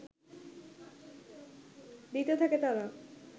দিতে থাকে তারা